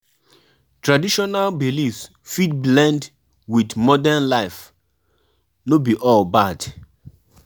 If na cultural festival you dey plan, take permission from di right pipo